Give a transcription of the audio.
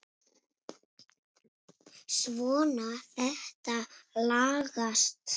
Svona, þetta lagast